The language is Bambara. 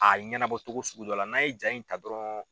A ɲɛnabɔ cogo sugu dɔ la n'an ye jaa in ta dɔrɔn